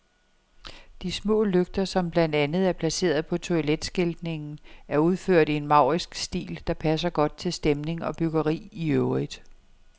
De små lygter, som blandt andet er placeret på toiletskiltningen, er udført i en maurisk stil, der passer godt til stemning og byggeri i øvrigt.